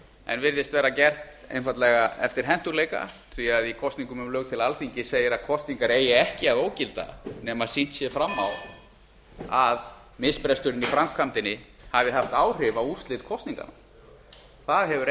en virðist vera gert einfaldlega eftir hentugleika því í kosningum um lög til alþingis segir að kosningar eigi ekki að ógilda nema sýnt sé fram á að misbresturinn á framkvæmdinni hafi haft áhrif á úrskurð kosninganna það hefur